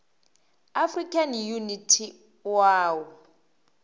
african unity oau